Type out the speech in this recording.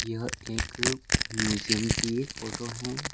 यह एक म्यूजियम की फोटो है।